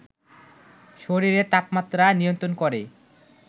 শরীরের তাপমাত্রা নিয়ন্ত্রণ করে